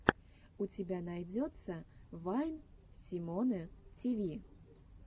у тебя найдется вайн симоны тиви